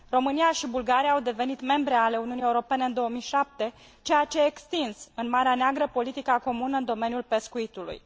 România și Bulgaria au devenit membre ale Uniunii Europene în 2007, ceea ce a extins în Marea Neagră politica comună în domeniul pescuitului.